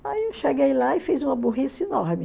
Aí eu cheguei lá e fiz uma burrice enorme.